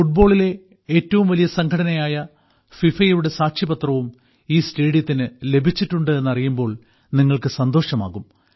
ഫുട്ബാളിലെ ഏറ്റവും വലിയ സംഘടനയായ ഫിഫയുടെ സാക്ഷ്യപത്രവും ഈ സ്റ്റേഡിയത്തിന് ലഭിച്ചിട്ടുണ്ട് എന്നറിയുമ്പോൾ നിങ്ങൾക്ക് സന്തോഷമാകും